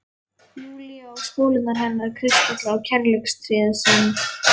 Júlíu, á spólurnar hennar, kristallana og kærleikstréð sem